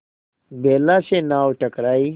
बेला से नाव टकराई